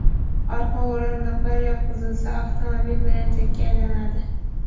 Orqa o‘rindiqlar yotqizilsa, avtomobil belanchakka aylanadi.